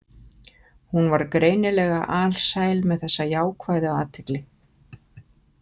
Hún var greinilega alsæl með þessa jákvæðu athygli.